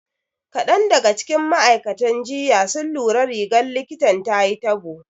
Kaɗan daga cikin ma'aikatan jinya sun lura da rigar likitan tayi tabo.